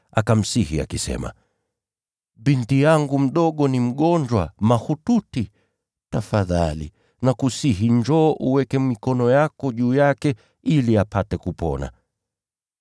akamsihi akisema, “Binti yangu mdogo ni mgonjwa mahututi. Tafadhali nakusihi, njoo uweke mikono yako juu yake ili apate kupona, naye atakuwa hai.”